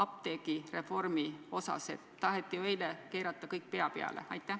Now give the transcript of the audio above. Taheti ju eile kõik pea peale keerata.